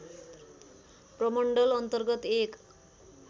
प्रमण्डल अन्तर्गत एक